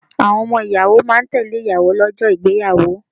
Àwọn ọmọ ìyàwó máa ń tẹ́lẹ̀ ìyàwó lọ́jọ́ ìgbéyàwó.